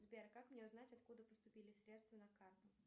сбер как мне узнать откуда поступили средства на карту